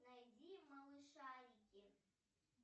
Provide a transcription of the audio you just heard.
найди малышарики